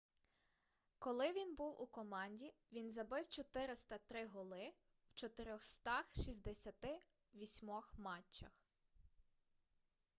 коли він був у команді він забив 403 голи в 468 матчах